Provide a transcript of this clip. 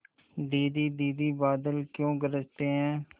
दीदी दीदी बादल क्यों गरजते हैं